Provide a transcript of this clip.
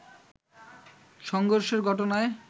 সংঘর্ষের ঘটনায়